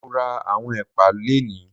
Mo ra àwọn ẹ̀pà lónìí